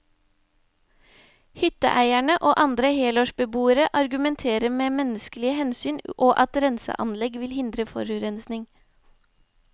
Hytteeierne og andre helårsbeboere argumenterer med menneskelige hensyn, og at renseanlegg vil hindre forurensning.